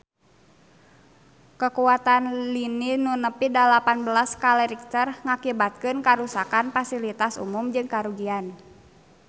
Kakuatan lini nu nepi dalapan belas skala Richter ngakibatkeun karuksakan pasilitas umum jeung karugian harta banda nepi ka 1 triliun rupiah